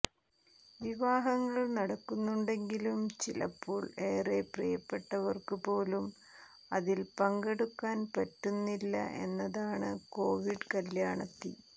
വിവാഹങ്ങൾ നടക്കുന്നുണ്ടെങ്കിലും ചിലപ്പോൾ ഏറെ പ്രിയപ്പെട്ടവർക്കുപോലും അതിൽ പങ്കെടുക്കാൻ പറ്റുന്നില്ല എന്നതാണ് കോവിഡ് കല്യാണത്തി